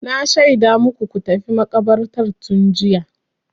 Na shaida maku ku tafi makabartar tun jiya.